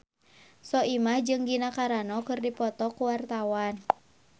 Soimah jeung Gina Carano keur dipoto ku wartawan